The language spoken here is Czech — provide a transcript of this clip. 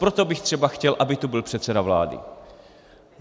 Proto bych třeba chtěl, aby tu byl předseda vlády.